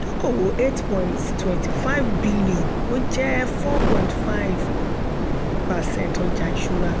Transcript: dókòwò eight point twenty five bílíọ̀nù ó jẹ́ four point five percent ọjà ìṣúra.